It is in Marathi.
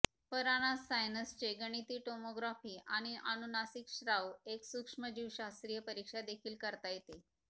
परानास सायनसचे गणिती टोमोग्राफी आणि अनुनासिक स्त्राव एक सूक्ष्मजीवशास्त्रीय परीक्षा देखील करता येते